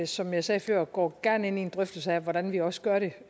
som jeg sagde før går gerne ind i en drøftelse af hvordan vi også gør det